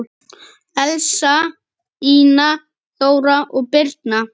Elsa, Ína, Þóra og Birna.